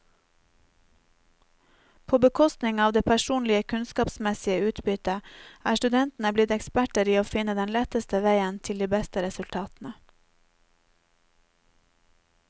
På bekostning av det personlige kunnskapsmessige utbytte, er studentene blitt eksperter i å finne den letteste veien til de beste resultatene.